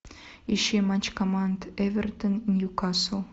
ищи матч команд эвертон ньюкасл